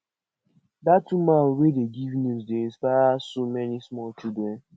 dat woman wey dey give news dey inspire so many small children